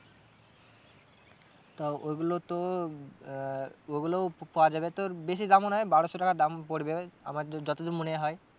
তা ওগুলো তোর আহ ওগুলো পাওয়া যাবে তোর বেশি দামও নয় বারোশো টাকা দাম পড়বে আমার যত দূর মনে হয়।